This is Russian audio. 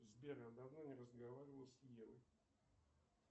сбер я давно не разговаривал с евой